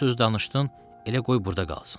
Bu söz danışdın, elə qoy burda qalsın.